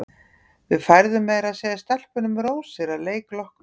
Við færðum meira að segja stelpunum rósir að leik loknum.